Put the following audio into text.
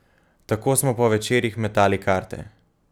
Tako smo po večerih metali karte.